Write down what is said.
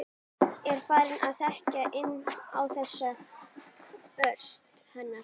Spurning hvernig Viðar er í taninu?